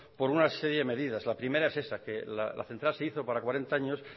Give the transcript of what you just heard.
por una serie de medidas la primera es esa que la central se hizo para cuarenta años